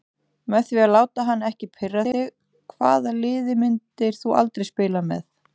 Með því að láta hann ekki pirra þig Hvaða liði myndir þú aldrei spila með?